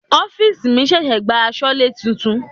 Ọ́fìsì mi ṣẹ̀ṣẹ̀ gba asọlé titun.